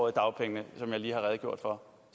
i dagpengene som jeg lige har redegjort for